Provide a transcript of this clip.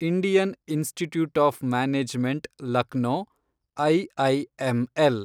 Indian Institute of Management Lucknow, IIML